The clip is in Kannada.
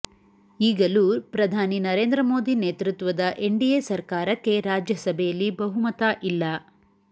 ಈಗಲೂ ಪ್ರಧಾನಿ ನರೇಂದ್ರ ಮೋದಿ ನೇತೃತ್ವದ ಎನ್ ಡಿಎ ಸರ್ಕಾರಕ್ಕೆ ರಾಜ್ಯಸಭೆಯಲ್ಲಿ ಬಹುಮತ ಇಲ್ಲ